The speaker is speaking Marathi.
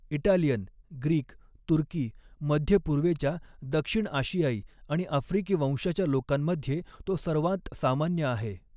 इटालियन, ग्रीक, तुर्की, मध्यपूर्वेच्या, दक्षिण आशियाई आणि आफ्रिकी वंशाच्या लोकांमध्ये तो सर्वांत सामान्य आहे.